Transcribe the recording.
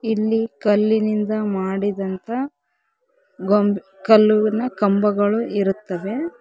ಇಲ್ಲಿ ಕಲ್ಲಿನಿಂದ ಮಾಡಿದಂತ ಗೊಂಬೆ ಕಲ್ಲುವಿನ ಕಂಬಗಳು ಇರುತ್ತವೆ.